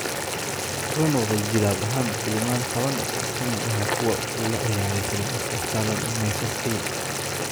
Wuxuu noqday jilaab ahaan filimaan tawan, oo ka mid ah kuwa uu la ciyaaray Sylvester Stallone iyo Michael Caine.